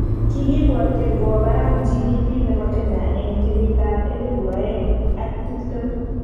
Kikibwotjin kowo barak GDP nebo Kenya eng kenyitab elebu oeng ak tiptem